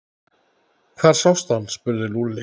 Hvar sástu hann? spurði Lúlli.